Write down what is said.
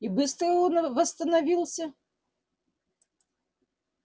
и быстро он восстановился